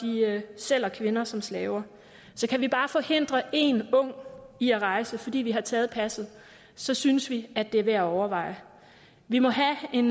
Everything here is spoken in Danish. sælger kvinder som slaver så kan vi bare forhindre én ung i at rejse fordi vi har taget passet så synes vi at det er værd at overveje vi må have en